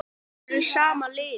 Allir eru í sama liði.